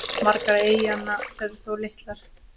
Margar eyjanna eru þó litlar.